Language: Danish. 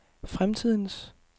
fremtidens